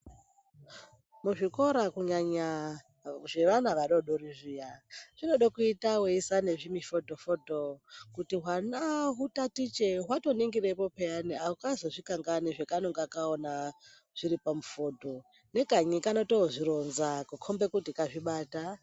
Kuzvikora kunyanya zvevana vadodori zviya, zvinode kuite seiisa nezvimifodho-fodho kuti hwana hutatiche hwato ningirepo peyani. Hakazozvi kangamwi zvekanonga kaona zviri pamufodho nekanyi kanotozvironza kukombe kuti kazvibata.